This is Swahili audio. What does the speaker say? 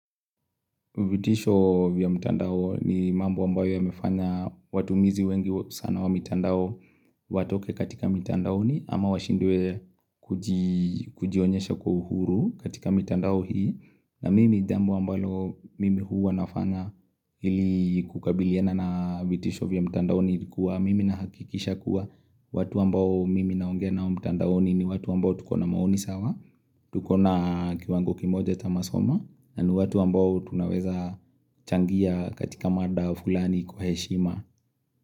Vitisho vya mtandao ni mambo ambayo ya mefanya watu mizi wengi sana wa mitandao watoke katika mitandaoni ama washindwe kujionyesha kwa uhuru katika mitandao hii na mimi jambo ambalo mimi huwanafanya ili kukabiliana na vitisho vya mtandao ni kuwa mimi nahakikisha kuwa watu ambao mimi naongea na mtandao ni ni watu ambao tukona maoni sawa, tukona kiwango kimoja cha masomo na ni watu ambao tunaweza changia katika mada fulani kwa heshima.